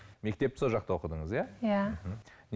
мектепті сол жақта оқыдыңыз иә иә мхм